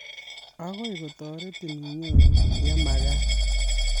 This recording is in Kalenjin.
Agoi kotoretin inyoru yemakat